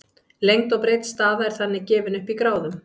lengd og breidd staða er þannig gefin upp í gráðum